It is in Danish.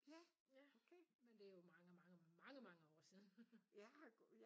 Ja men det er jo mange mange mange mange år siden